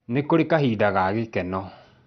Nĩ kurĩ kahinda ka gĩkeno